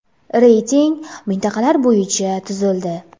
Reyting mintaqalar bo‘yicha tuzildi.